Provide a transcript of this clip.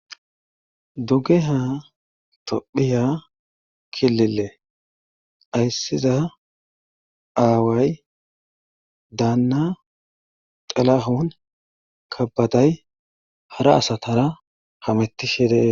Duggeha tophiya kilile ayssiza aaway daanna xalahun kabaday hara asatara hametti shedeee.